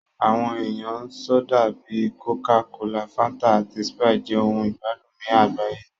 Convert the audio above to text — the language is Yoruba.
Àwọn ẹ̀yà sódà bíi kòká kolà, Fáńtà, àti Sprite jẹ́ ohun ìgbádùn ní àgbáyé